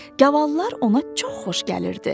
Gavallar ona çox xoş gəlirdi.